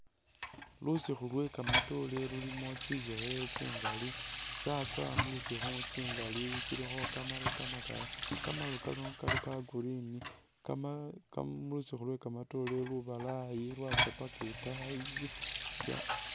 Lusikhu lwe kamatoore lulimo tsishekhele tsingali ,tsatsoowa mulisikhu tsingali ,tsilikho kamaru kamakali, kamaru kano kali ka green, kamalala ka mulisikhu lwe kamatoore lubalayi lwatsa paka itaayi